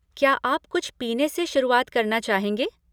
क्या आप कुछ पीने से शुरुआत करना चाहेंगे?